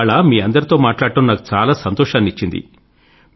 ఇవాళ మీ అందరితో మాట్లాడడం నాకు చాలా సంతోషాన్ని ఇచ్చింది